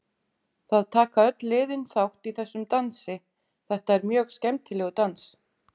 Það taka öll liðin þátt í þessum dansi, þetta er mjög skemmtilegur dans.